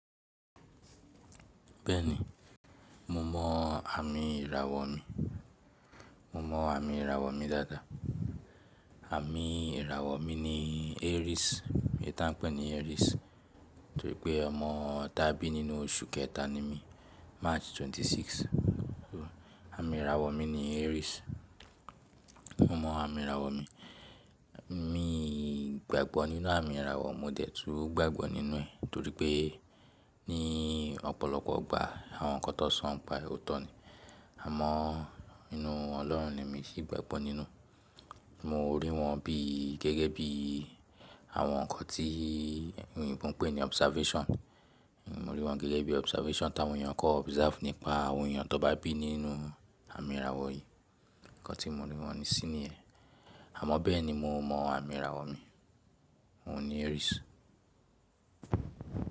Bẹ́ẹ̀ni, mo mọ àmì ìràwọ̀ mi. Mo mọ àmì ìràwọ̀ mi dáadáa. Ami irawo mi ni aries eyi ti a n pe ni aries toripe omo ta bi ninu osu keta ni mi march 26 So àmì ìràwọ̀ mi ni Aries. Mo mọ àmì ìràwọ̀ mi. Mi gbàgbọ́ nínú àmì ìràwọ̀, mo dẹ̀ túú gbàgbọ́ nínú ẹ̀ torí pé ní ọ̀pọ̀lọpọ̀ ìgbà àwọn nǹkan tó so n pa è óto ni. Àmọ́ nínú Ọlọ́run ni èmi sì gbàgbọ́ nínú. Mo rí wọn bí gẹ́gẹ́ bí àwọn nǹkan tí oyìnbo ń pè ní observation. Mo rí wọn gẹ́gẹ́ bí observation táwọn èèyàn kọ́ observe nípa àwọn èèyàn tó bá bí nínú àmì ìràwọ̀ yìí. Ǹkan tí mo rí wọn ní sí ni yẹ̀n. Àmọ́ bẹ́ẹ̀ ni mo mọ àmì ìràwọ̀ mi. Oun ni Aries.